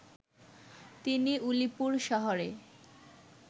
তিনি উলিপুর শহরে